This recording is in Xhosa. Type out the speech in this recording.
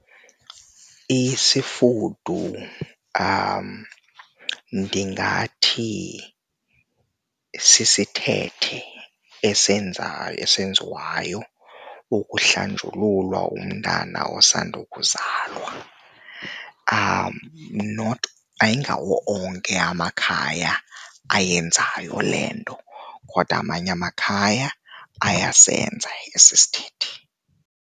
Isifudu ndingathi sisithethe esiyenza, ezenziwayo okuhlanjululwa umntana osanda kuzalwa. Not, ayingawo onke amakhaya ayenzayo le nto kodwa amanye amakhaya ayasenza esi sithethe.